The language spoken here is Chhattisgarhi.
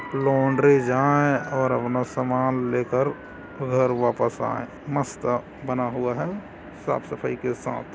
लॉन्ड्री जाए और अपना सामान लेकर घर वापस आए मस्त बना हुआ हैं साफ-सफाई के साथ--